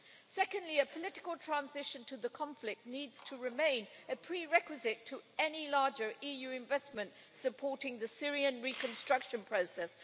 Secondly, a political transition to the conflict needs to remain a prerequisite to any larger EU investment supporting the Syrian reconstruction process.